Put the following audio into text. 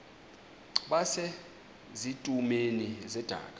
base zitulmeni zedaka